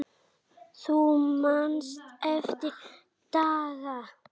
Þú manst eftir Ragga.